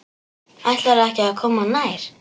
Ætlarðu ekki að koma nær?